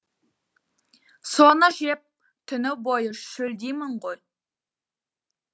соны жеп түні бойы шөлдеймін ғой